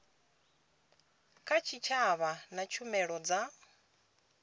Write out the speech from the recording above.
kha tshitshavha na tshumelo dza